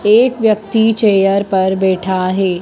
एक व्यक्ति चेयर पर बैठा है।